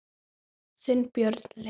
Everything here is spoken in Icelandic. Þinn, Björn Leví.